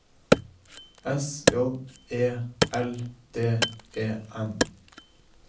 S J E L D E N